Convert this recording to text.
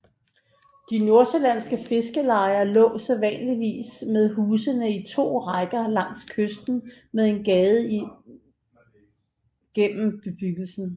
De nordsjællandske fiskerlejer lå sædvanligvis med husene i to rækker langs kysten med en gade gennem bebyggelsen